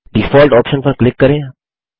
default option पर click करें